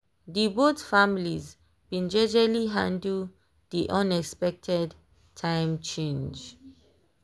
dey both families been jejely handle dey unexpected time change.